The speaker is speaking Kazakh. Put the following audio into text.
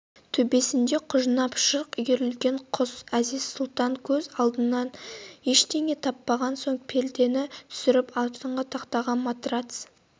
төбесінде құжынап шырқ үйірілген құс әзиз-сұлтан көз алдандырар ештеңе таппаған соң пердені түсірді астыңғы тақтаға матрац